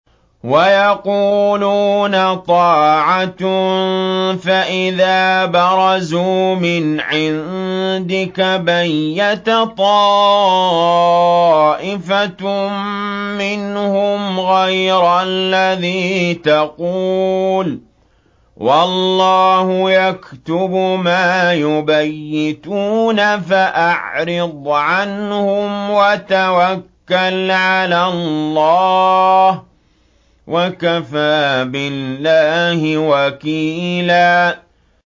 وَيَقُولُونَ طَاعَةٌ فَإِذَا بَرَزُوا مِنْ عِندِكَ بَيَّتَ طَائِفَةٌ مِّنْهُمْ غَيْرَ الَّذِي تَقُولُ ۖ وَاللَّهُ يَكْتُبُ مَا يُبَيِّتُونَ ۖ فَأَعْرِضْ عَنْهُمْ وَتَوَكَّلْ عَلَى اللَّهِ ۚ وَكَفَىٰ بِاللَّهِ وَكِيلًا